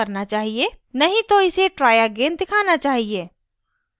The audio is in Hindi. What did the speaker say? #नहीं तो इसे try again दिखाना चाहिए